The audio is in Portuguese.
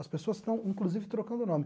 As pessoas estão, inclusive, trocando o nome.